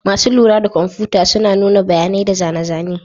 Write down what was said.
Masu lura da kwamfuta suna nuna bayanai da zane-zane.